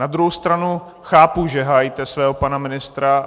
Na druhou stranu chápu, že hájíte svého pana ministra.